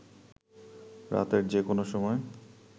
রাতের যে কোন সময়